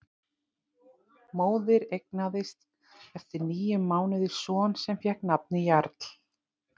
Móðir eignaðist eftir níu mánuði son sem fékk nafnið Jarl.